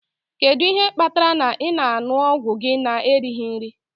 Kedu ihe kpatara ị na-aṅụ ọgwụ gị na-erighị nri?